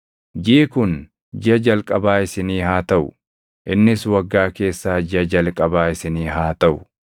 “Jiʼi kun jiʼa jalqabaa isinii haa taʼu; innis waggaa keessaa jiʼa jalqabaa isinii haa taʼu.